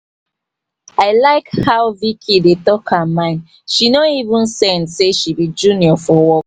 i like how vicki dey tak her mind she no even send sey she be junior for work